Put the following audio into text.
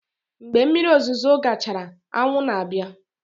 Mgbe mmiri ozuzo gachara, anwụ na-abịa.